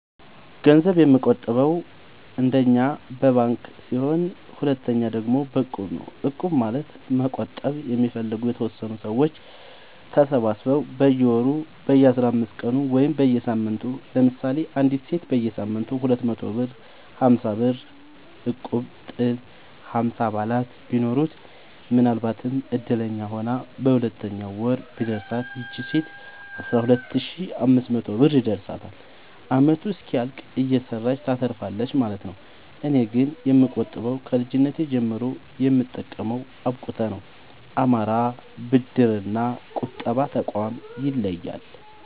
ገንዘብ የምቆ ጥበው አንደኛ በባንክ ሲሆን ሁለተኛ ደግሞ በእቁብ ነው እቁብ ማለት መቁጠብ የሚፈልጉ የተወሰኑ ሰዎች ተሰባስበው በየወሩ በየአስራአምስት ቀኑ ወይም በየሳምንቱ ለምሳሌ አንዲት ሴት በየሳምንቱ ሁለት መቶ ሀምሳብር እቁብጥል ሀምሳ አባላት ቢኖሩት ምናልባትም እድለኛ ሆና በሁለተኛው ወር ቢደርሳት ይቺ ሴት አስራሁለት ሺ አምስት መቶ ብር ይደርሳታል አመቱ እስኪያልቅ እየሰራች ታተርፋለች ማለት ነው። እኔ ግን የምቆጥበው ከልጅነቴ ጀምሮ የምጠቀመው አብቁተ ነው። አማራ ብድር እና ቁጠባ ጠቋም ይለያል።